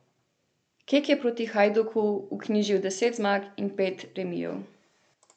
Kek je proti Hajduku vknjižil deset zmag in pet remijev.